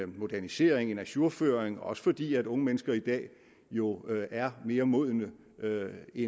modernisering en ajourføring også fordi unge mennesker i dag jo er mere modne eller i